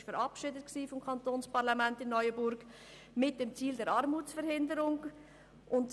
Das entsprechende Gesetz wurde vom neuenburgischen Parlament mit dem Ziel der Armutsverhinderung verabschiedet.